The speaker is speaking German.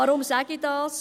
Weshalb sage ich das?